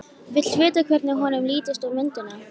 Vill vita hvernig honum lítist á myndina.